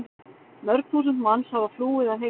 Mörg þúsund manns hafa flúið að heiman.